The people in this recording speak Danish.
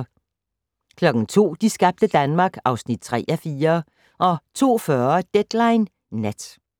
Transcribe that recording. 02:00: De skabte Danmark (3:4) 02:40: Deadline Nat